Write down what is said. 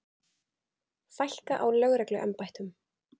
Fækka á lögregluembættum